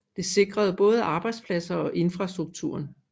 Det sikrede både arbejdspladser og infrastrukturen